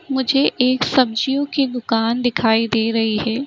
मुझे एक सब्जियों की दुकान दिखाई दे रही है।